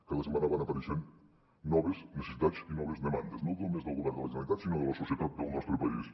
cada setmana van apareixent noves necessitats i noves demandes no només del govern de la generalitat sinó de la societat del nostre país